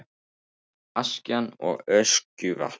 Askja og Öskjuvatn.